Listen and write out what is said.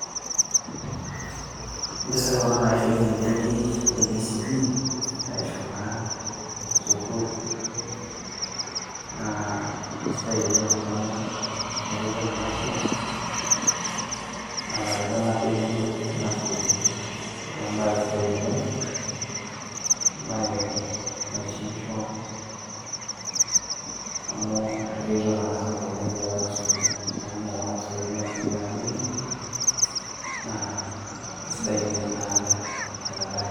impisai kuna naishotie ebenki e kcb,naishooitie naa sukuul. naa isidai oleng amu eretoto ena sapuk natareto ebenki ena sukuul, neeku ebaae sidai ena oleng. ebae naitishipisho amu eretotot ena oleng tiatua ena sukuul. amu kumok kuna pisai oleng naishootie ena banki naa kisidai oleng ena bae.